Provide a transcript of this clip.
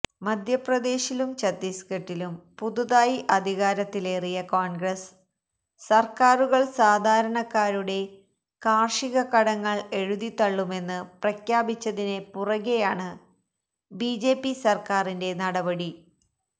മധ്യപ്രദേശിലും ഛത്തീസ്ഗഢിലും പുതുതായി അധികാരത്തിലേറിയ കോണ്ഗ്രസ് സര്ക്കാരുകള് സാധാരക്കാരുടെ കാര്ഷിക കടങ്ങള് എഴുതിത്തള്ളുമെന്ന് പ്രഖ്യാപിച്ചതിന് പുറകെയാണ് ബിജെപി സർക്കാറിന്റെ നടപടി